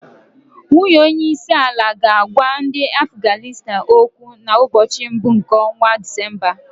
Nwunye onye isi àlà ga-agwa ndị Afganịstan okwu na mbochi mbụ nke ọnwa Disemba.